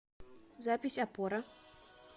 запись опора